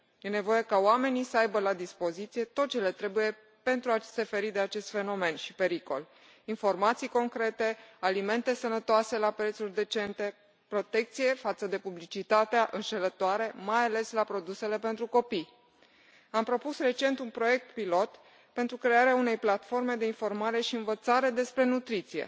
E nevoie ca oamenii să aibă la dispoziție tot ce le trebuie pentru a se feri de acest fenomen și pericol informații concrete, alimente sănătoase la prețuri decente, protecție față de publicitatea înșelătoare, mai ales la produsele pentru copii. Am propus recent un proiect pilot pentru crearea unei platforme de informare și învățare despre nutriție.